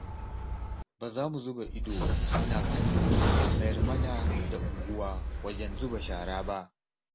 Ba za mu zuba ido muna kallo a mayar mana da unguwa wajen zuba shara ba.